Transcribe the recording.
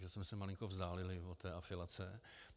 Že jsme se malinko vzdálili od té afilace.